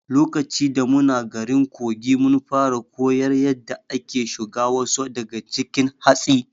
Lokaci da muna garin Kogi, mun fara koyar yadda ake shuga wasu daga cikin hatsi.